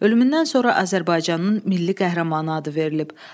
Ölümündən sonra Azərbaycanın milli qəhrəmanı adı verilib.